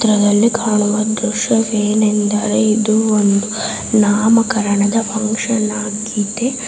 ಚಿತ್ರದಲ್ಲಿ ಕಾಣುವ ದ್ರಶ್ಯವೇನೆಂದರೆ ಇದು ಒಂದು ನಾಮಕರಣದ ಫಂಕ್ಷನ್ ಆಗಿದೆ.